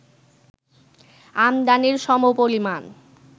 আমদানির সমপরিমাণ